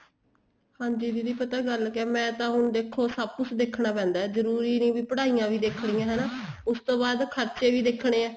ਹਾਂਜੀ ਦੀਦੀ ਪਤਾ ਗੱਲ ਕਿਆ ਮੈਂ ਤਾਂ ਹੁਣ ਦੇਖੋ ਸਭ ਕੁੱਛ ਦੇਖਣਾ ਪੈਂਦਾ ਜਰੂਰੀ ਨਹੀਂ ਵੀ ਪੜ੍ਹਾਈਆਂ ਵੀ ਦੇਖਣੀਆਂ ਹੈਨਾ ਉਸ ਤੋਂ ਬਾਅਦ ਖਰਚੇ ਵੀ ਦੇਖਣੇ ਏ